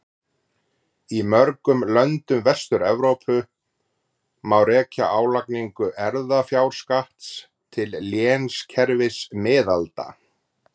Í mörgum löndum Vestur-Evrópu má rekja álagningu erfðafjárskatts til lénskerfis miðalda.